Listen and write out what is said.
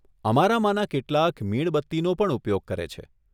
અમારામાંના કેટલાક મીણબત્તીનો પણ ઉપયોગ કરે છે.